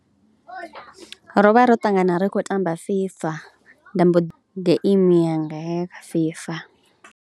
Ro vha ro ṱangana ri khou tamba FIFA nda mbo ḓi, game yanga ya kha FIFA.